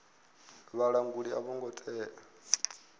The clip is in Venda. vhalanguli a vho ngo tea